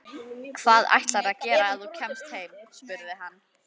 Hvað ætlarðu að gera ef þú kemst heim? spurði hann.